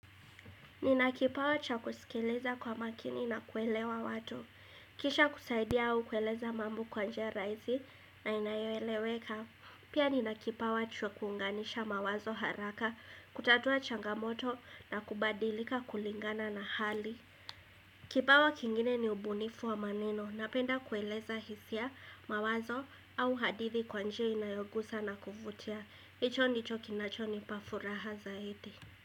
Nina kipawa cha kusikiliza kwa makini na kuelewa watu. Kisha kusaidia au kueleza mambo kwa njia rahisi na inayoeleweka. Pia nina kipawa cha kuunganisha mawazo haraka, kutatua changamoto na kubadilika kulingana na hali. Kipawa kingine ni ubunifu wa maneno. Napenda kueleza hisia mawazo au hadithi kwa njia inayogusa na kuvutia. Hicho ndicho kinachonipa furaha zaidi.